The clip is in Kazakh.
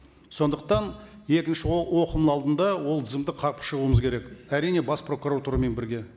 сондықтан екінші оқылымның алдында ол тізімді қарап шығуымыз керек әрине бас прокуратурамен бірге